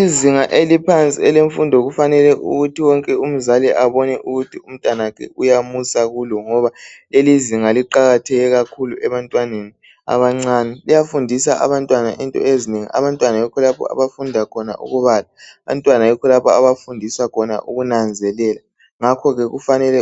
Izinga eliphansi elemfundo kufanele ukuthi wonke umzali abone ukuthi umntanakhe uyamusa kulo ngoba lelizinga liqakatheke kakhulu ebantwaneni abancane. Liyafundisa abantwana into ezinengi. Abantwana yikho lapho abafunda khona ukubala, abantwana yikho lapho abafundiswa khona ukunanzelela. Ngakho-ke kufanele